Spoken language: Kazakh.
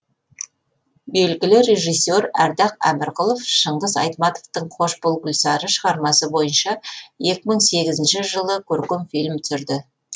белгілі режиссер ардақ әмірқұлов шыңғыс айтматовтың қош бол гүлсары шығармасы бойынша екі мың сегізінші жылы көркем фильм түсірді